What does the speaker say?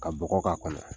Ka bɔgɔ k'a kɔnɔ